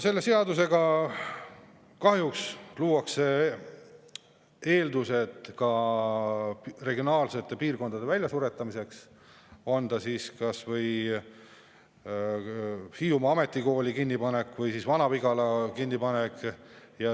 Selle seadusega kahjuks luuakse eeldused ka piirkondade väljasuretamiseks, olgu kas või Hiiumaa Ametikooli kinnipanek või Vana-Vigala kinnipanek.